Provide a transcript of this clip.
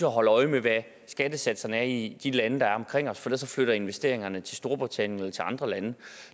holde øje med hvad skattesatserne er i de lande der er omkring os for ellers flytter investeringerne til storbritannien eller til andre lande